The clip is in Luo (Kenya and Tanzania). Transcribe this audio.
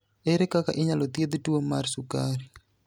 Ere kaka inyalo thiedh tuwo mar sukari?